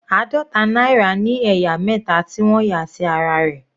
Àádọta náírà ní ẹ̀yà mẹta tí wọ́n yà sí ara rẹ̀.